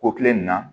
Ko kile in na